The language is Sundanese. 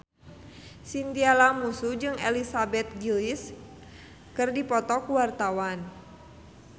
Chintya Lamusu jeung Elizabeth Gillies keur dipoto ku wartawan